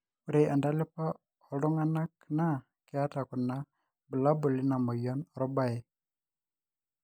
ore entalipa oltunganak na keeta kuna bulabul ina moyian orbae